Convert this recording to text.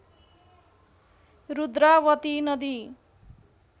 रुद्रावती नदी